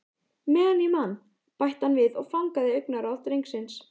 Meðan ég man- bætti hann við og fangaði augnaráð drengsins.